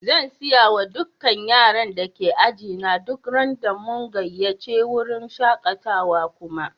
Zan siya ma dukan yaran da ke ajina duk ran da mun gayace wurin shakatawan kuma.